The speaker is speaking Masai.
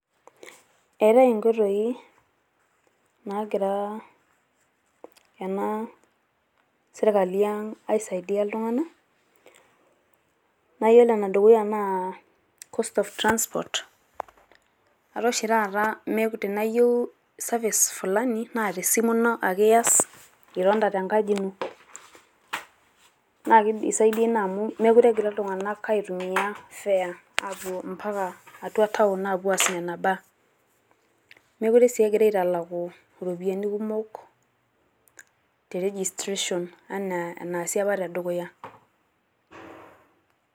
eetae inkoitoi naagira ena sirkali ang' aisaidia iltunganak, naa iyiolo ene dukuya naa cost of transport .etaa oshi taata tenaa iyieu service fulani ,naa tesimu ino ake iyas itonita tenkaji ino. naa kidisaidi naa amu meekure egira iltung'anak aitumia, fare ,apuo mpaka atua town apuo, aas nena baa. meekure sii egirae aitalaku iropiyiani kumok, te registration anaa enaasi apa tedukuya.